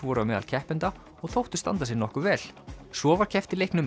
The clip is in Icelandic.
voru á meðal keppenda og þóttu standa sig nokkuð vel svo var keppt í leiknum